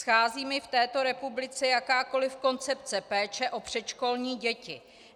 Schází mi v této republice jakákoliv koncepce péče o předškolní děti.